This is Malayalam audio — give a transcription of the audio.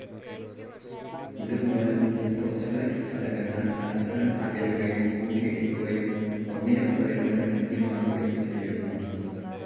ഇത് മൂലം ലിത്തോസ്‌ഫെറിക് ഫലകങ്ങൾ പരസ്പരം അകലുകയും കൂട്ടിയിടിക്കുകയും ഒന്നിന് മുകളിലൂടെ തെന്നിമാറുകയും ചെയ്യുന്നു.